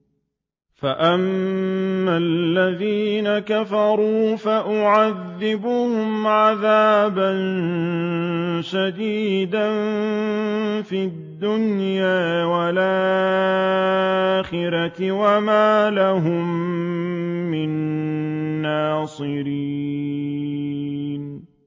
فَأَمَّا الَّذِينَ كَفَرُوا فَأُعَذِّبُهُمْ عَذَابًا شَدِيدًا فِي الدُّنْيَا وَالْآخِرَةِ وَمَا لَهُم مِّن نَّاصِرِينَ